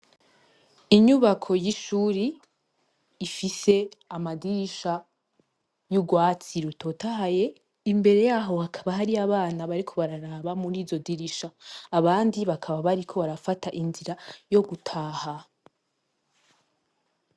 Inyubako y'ishuri ifise amadirisha y'urwatsi rutotahaye imbere yaho hakaba hari abana bariko bararaba muri zo dirisha abandi bakaba bariko barafata inzira yo gutaha.